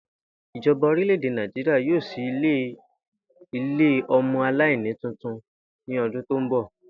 Ìjo̩ba orílè̩-èdè Nàìjíríà yóò s̩í ilé o̩mo̩-aláìníyàá tuntun ní o̩dún tó ń bò̩